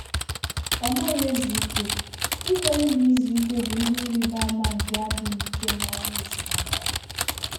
Ọ́ nàghị́ èzù íké, íkwèré nà ízu íké bụ́ ìhè ị́rị́bà ámà nké ádị́ghị́ íké n’ányá èzínụ́lọ́ yá.